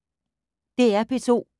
DR P2